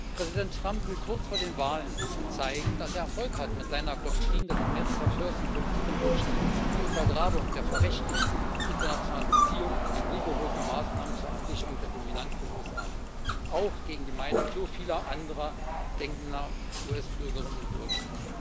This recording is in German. Präsident Trump will kurz vor den Wahlen zeigen, dass er Erfolg hat mit seiner Doktrin des America First in Politik und Wirtschaft, der Untergrabung der verrechtlichten internationalen Beziehungen und den rigorosen Maßnahmen zur Absicherung der Dominanz der USA, auch gegen die Meinung so vieler andersdenkender US Bürgerinnen und Bürger.